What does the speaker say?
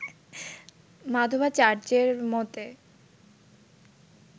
মাধবাচার্যের মতে